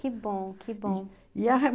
Que bom, que bom. E a e